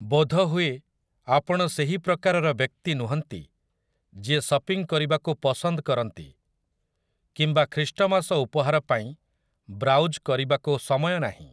ବୋଧହୁଏ ଆପଣ ସେହି ପ୍ରକାରର ବ୍ୟକ୍ତି ନୁହଁନ୍ତି ଯିଏ ସପିଂ କରିବାକୁ ପସନ୍ଦ କରନ୍ତି, କିମ୍ବା ଖ୍ରୀଷ୍ଟମାସ ଉପହାର ପାଇଁ ବ୍ରାଉଜ୍ କରିବାକୁ ସମୟ ନାହିଁ ।